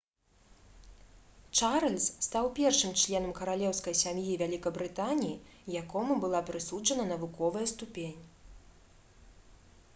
чарльз стаў першым членам каралеўскай сям'і вялікабрытаніі якому была прысуджана навуковая ступень